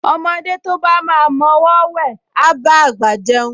Ọmọdé tí ó bá máa mọ ọwọọ́ wẹ̀, á bá àgbà jẹun